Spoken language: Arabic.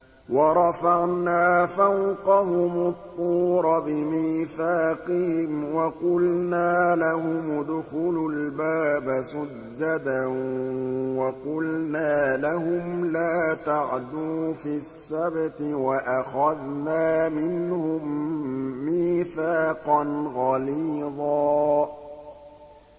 وَرَفَعْنَا فَوْقَهُمُ الطُّورَ بِمِيثَاقِهِمْ وَقُلْنَا لَهُمُ ادْخُلُوا الْبَابَ سُجَّدًا وَقُلْنَا لَهُمْ لَا تَعْدُوا فِي السَّبْتِ وَأَخَذْنَا مِنْهُم مِّيثَاقًا غَلِيظًا